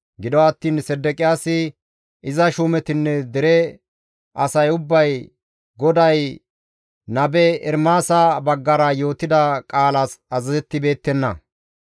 Gido attiin Sedeqiyaasi, iza shuumetinne dere asay ubbay GODAY nabe Ermaasa baggara yootida qaalas azazettibeettenna.